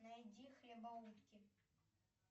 найди хлебоутки